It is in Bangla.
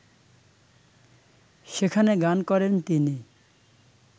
সেখানে গান করেন তিনি